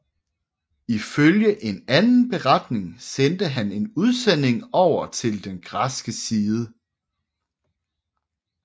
Ifølge en anden beretning sendte han en udsending over til den græske side